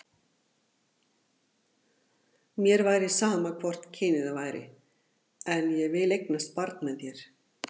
Mér væri sama hvort kynið það væri, en ég vil eignast barn með þér.